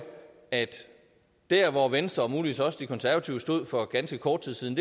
at dér hvor venstre og muligvis også de konservative stod for ganske kort tid siden